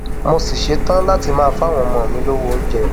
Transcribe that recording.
mo sì ṣetán láti máa fáwọn ọmọ mi lọwọ oúnjẹ